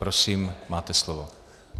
Prosím, máte slovo.